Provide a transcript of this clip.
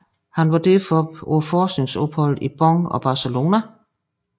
Han var derefter på forskningsophold i Bonn og Barcelona